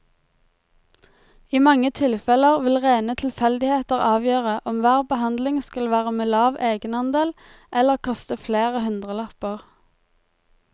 I mange tilfeller vil rene tilfeldigheter avgjøre om hver behandling skal være med lav egenandel eller koste flere hundrelapper.